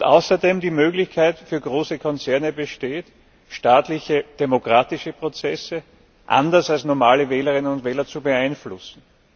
Außerdem als Möglichkeit für große Konzerne, staatliche demokratische Prozesse anders als normale Wählerinnen und Wähler zu beeinflussen.